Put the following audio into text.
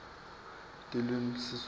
tilwimi siswati